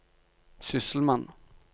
sysselmann